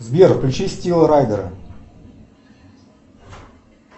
сбер включи стива райдера